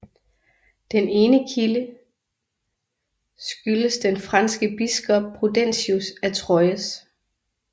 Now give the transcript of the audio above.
Den ene kile skyldes den franske biskop Prudentius af Troyes